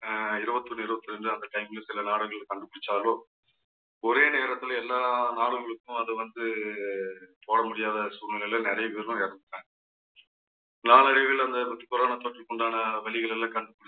அஹ் இருபத்தி ஒண்ணு இருபத்தி இரண்டு அந்த time ல சில நாடுகள்ல கண்டுபிடிச்சாலோ ஒரே நேரத்துல எல்லா நாடுகளுக்கும் அது வந்து போட முடியாத சூழ்நிலையில நிறைய பேரு இறந்துபோய்ட்டாங்க நாளடைவில் வந்து அந்த corona தொற்றுக்குண்டான வழிகள் எல்லாம் கண்டுபிடிச்சு